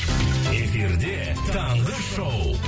эфирде таңғы шоу